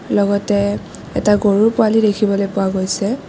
লগতে এটা গৰুৰ পোৱালী দেখিবলৈ পোৱা গৈছে।